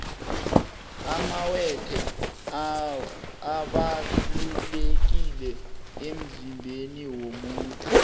amawethe abalulekile emzimbeni womuntu